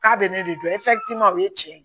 K'a bɛ ne de dɔn o ye tiɲɛ ye